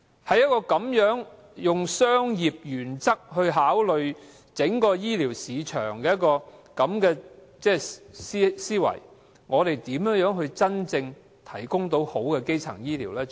在一個以商業原則考慮整個醫療市場的思維下，我們如何能真正提供好的基層醫療？